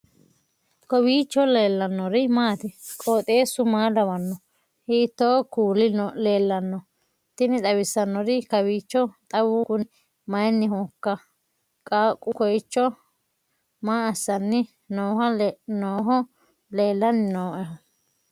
kowiicho leellannori maati ? qooxeessu maa lawaanno ? hiitoo kuuli leellanno ? tini xawissannori kawiicho xawu kunni mayinnihoikka qaaqu kooicho maa assanni nooho leellannni nooehu